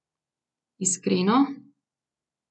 Iskreno?